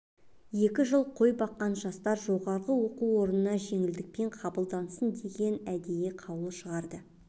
екі жыл қой баққан жастар жоғарғы оқу орындарына жеңілдікпен қабылдансын деген әдейі қаулы шығарды